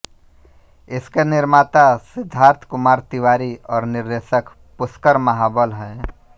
इसके निर्माता सिद्धार्थ कुमार तिवारी और निर्देशक पुष्कर महाबल हैं